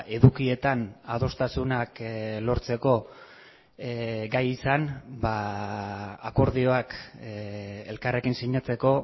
edukietan adostasunak lortzeko gai izan akordioak elkarrekin sinatzeko